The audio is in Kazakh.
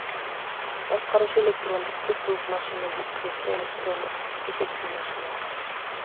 басқарушы электрондық цифрлық машина дискретті электрондық есептеу машинасы